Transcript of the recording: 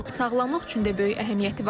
Onun sağlamlıq üçün də böyük əhəmiyyəti var.